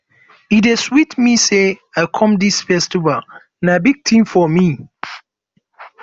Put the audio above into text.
e dey sweet me say i come dis festival na big thing for me